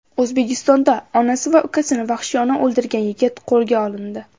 O‘zbekistonda onasi va ukasini vahshiyona o‘ldirgan yigit qo‘lga olindi .